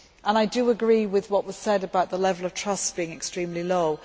I agree with what was said about the level of trust being extremely low.